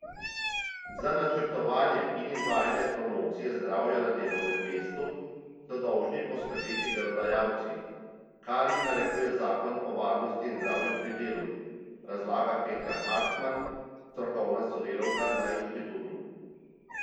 Za načrtovanje in izvajanje promocije zdravja na delovnem mestu so dolžni poskrbeti delodajalci, kar jim narekuje zakon o varnosti in zdravju pri delu, razlaga Petra Hartman, strokovna sodelavka na inštitutu.